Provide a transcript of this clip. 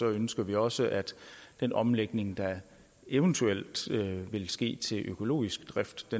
ønsker vi også at den omlægning der eventuelt vil ske til økologisk drift